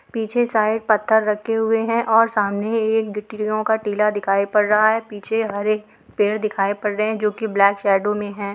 पीछे साइड पत्थर रखे हुए हैं और सामने एक गिटीयो का टीला दिखाई पड़ रहा है | पीछे हरे पेड़ दिखाई पड़ रहे है जो की ब्लैक शैडो मे है ।